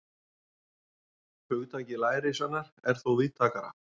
Hugtakið lærisveinar er þó víðtækara.